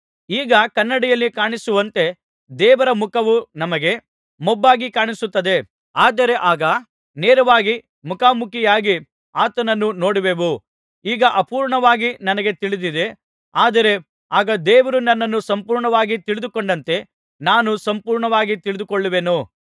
ಈಗ ಕನ್ನಡಿಯಲ್ಲಿ ಕಾಣಿಸುವಂತೆ ದೇವರ ಮುಖವು ನಮಗೆ ಮೊಬ್ಬಾಗಿ ಕಾಣಿಸುತ್ತದೆ ಆದರೆ ಆಗ ನೇರವಾಗಿ ಮುಖಾಮುಖಿಯಾಗಿ ಆತನನ್ನು ನೋಡುವೆವು ಈಗ ಅಪೂರ್ಣವಾಗಿ ನನಗೆ ತಿಳಿದಿದೆ ಆದರೆ ಆಗ ದೇವರು ನನ್ನನ್ನು ಸಂಪೂರ್ಣವಾಗಿ ತಿಳಿದುಕೊಂಡಂತೆ ನಾನು ಸಂಪೂರ್ಣವಾಗಿ ತಿಳಿದುಕೊಳ್ಳುವೆನು